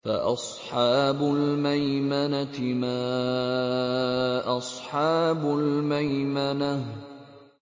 فَأَصْحَابُ الْمَيْمَنَةِ مَا أَصْحَابُ الْمَيْمَنَةِ